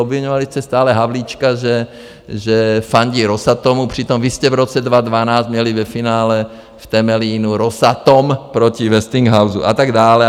Obviňovali jste stále Havlíčka, že fandí Rosatomu, přitom vy jste v roce 2012 měli ve finále v Temelínu Rosatom proti Westinghouse a tak dále.